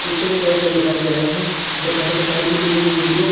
पीछे पेड़ पौधे दिखाई दे रहे हैं दोपहर के टाइम कि ली गई ये वीडियो --